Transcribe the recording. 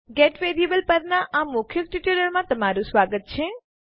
gate variable પરના આ મૌખિક ટ્યુટોરીયલમાં સ્વાગત છે